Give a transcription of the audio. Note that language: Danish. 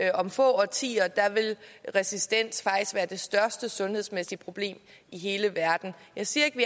at om få årtier vil resistens faktisk være det største sundhedsmæssige problem i hele verden jeg siger ikke at